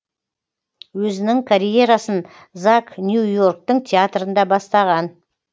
өзінің карьерасын зак нью йорктың театрында бастаған